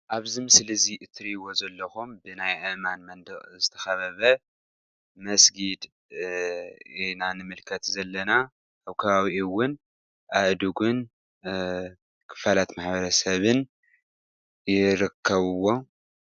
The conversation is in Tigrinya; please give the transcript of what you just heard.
ኣብዚ ምስሊ እዚ እትርእይዎ ዘለኹም ብናይ ኣእማን መንድቕ ዝተኸበበ መስጊድ ኢና ንምልከት ዘለና ኣብ ከባቢኡ እውን ኣእድጉን ክፋላት ማሕበረሰብን ይርኸብዎ።